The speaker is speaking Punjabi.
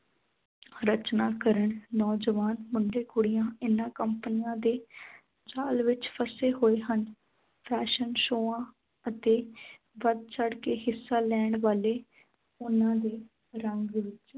ਰਚਨਾ ਕਰਨ ਨੌਜਵਾਨ ਮੁੰਡੇ ਕੁੜੀਆਂ ਇਨ੍ਹਾਂ ਕੰਪਨੀਆਂ ਦੇ ਜਾਲ ਵਿੱਚ ਫਸੇ ਹੋਏ ਹਨ fashion ਸ਼ੋਆ ਅਤੇ ਵੱਧ ਚੜ੍ਹ ਕੇ ਹਿੱਸਾ ਲੈਣ ਵਾਲੇ ਉਨ੍ਹਾਂ ਦੇ ਰੰਗ ਵਿੱਚ